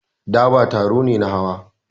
Daba taro ne na hawa.